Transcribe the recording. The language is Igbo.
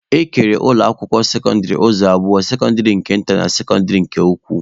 E kere ụlọ akwụkwọ sekọndịrị ụzọ abụọ, sekọndịrị nke nta na sekọndịrị nke ukwu